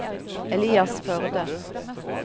Elias Førde